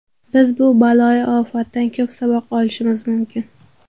Biz bu baloyi ofatdan ko‘p saboq olishimiz mumkin.